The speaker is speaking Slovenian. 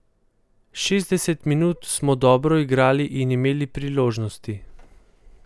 Šestdeset minut smo dobro igrali in imeli priložnosti.